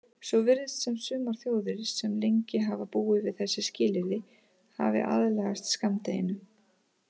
Svo virðist sem sumar þjóðir sem lengi hafa búið við þessi skilyrði hafi aðlagast skammdeginu.